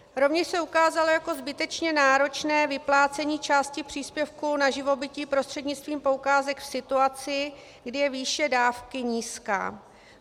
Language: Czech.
Rovněž se ukázalo jako zbytečně náročné vyplácení části příspěvku na živobytí prostřednictvím poukázek v situaci, kdy je výše dávky nízká.